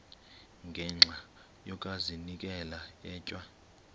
ngenxa yokazinikela etywa